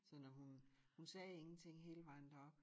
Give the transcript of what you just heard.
Så når hun hun sagde ingenting hele vejen derop